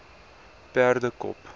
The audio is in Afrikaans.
perdekop